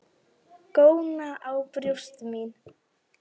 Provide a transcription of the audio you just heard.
Góna á brjóst mín.